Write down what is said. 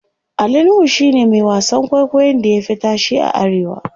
Ali nuhu shine Mai wasan kwaikwayon da ya Fi tashe a arewa